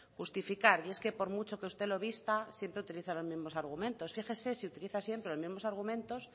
justificar y es que por mucho que usted lo vista siempre utiliza los mismos argumentos fíjese si utiliza siempre los mismos argumentos